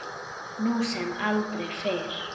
Nú sem aldrei fyrr.